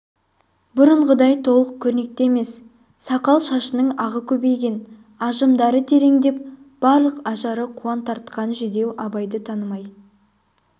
бұрынғыдай толық көрнекті емес сақал-шашының ағы көбейген ажымдары тереңдеп барлық ажары қуан тартқан жүдеу абайды танымай